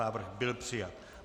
Návrh byl přijat.